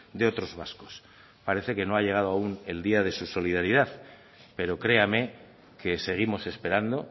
de otros vascos parece que no ha llegado aún el día de su solidaridad pero créame que seguimos esperando